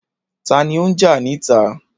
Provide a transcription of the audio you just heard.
Ta ni ó ń jà níta?